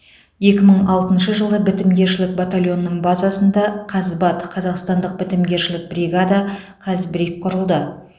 екі мың алтыншы жылы бітімгершілік батальонының базасында қазбат қазақстандық бітімгершілік бригада қазбриг құрылды